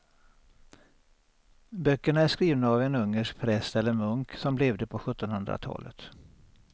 Böckerna är skrivna av en ungersk präst eller munk som levde på sjuttonhundratalet.